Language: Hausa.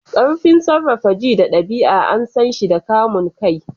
Ƙarfin sarrafa ji da ɗabi'a an san shi da kamun kai.